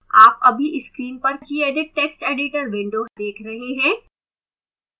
आप अभी screen पर क्या देख रहे हैं क्या gedit text editor window है